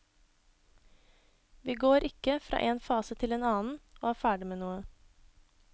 Vi går ikke fra en fase til en annen og er ferdig med noe.